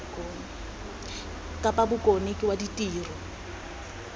kapa bokone ke wa ditiro